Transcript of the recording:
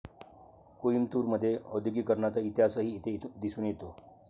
कोईमतूर मध्ये औद्योगीकरणाचा इतिहासही येथे दिसून येतो